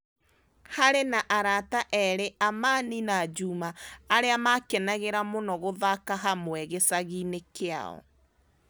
Harĩ na arata erĩ, Amani na Juma, arĩa maakenagĩra mũno gũthaka hamwe gĩcagi-inĩ kĩao.